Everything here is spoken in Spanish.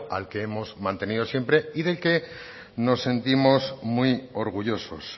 al que hemos mantenido siempre y del que nos sentimos muy orgullosos